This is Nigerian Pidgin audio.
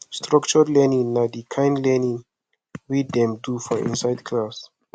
structured learning na di kind learning wey dem do for inside class